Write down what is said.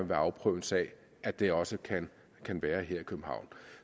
vil afprøve en sag at det også kan kan være her i københavn